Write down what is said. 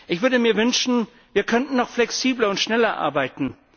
Ich würde mir wünschen, wir könnten noch flexibler und schneller arbeiten.